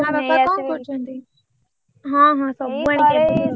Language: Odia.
ମା ବାପା ଙ୍କ କରୁଛନ୍ତି? ହଁ ହଁ ସବୁ ଆଣିକି ଆଗରୁ ରଖିଦବ।